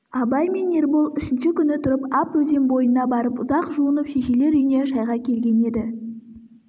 абай мен ербол үшінші күні тұрып ап өзен бойына барып ұзақ жуынып шешелер үйіне шайға келген еді